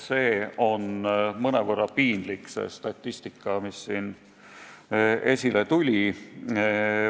See statistika, mis äsja avalikustati, on mõnevõrra piinlik.